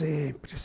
Sempre.